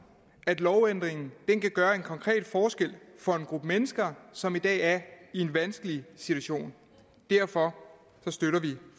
at lovændringen kan gøre en konkret forskel for en gruppe mennesker som i dag er i en vanskelig situation derfor støtter vi